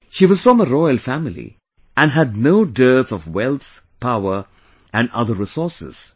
She was from a royal family and had no dearth of wealth, power and other resources